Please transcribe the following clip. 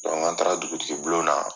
an taara dugutigi bulon na